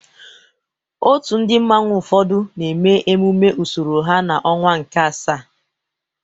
Òtù ndị mmanwu ụfọdụ na-eme emume usoro ha n'ọnwa nke asaa.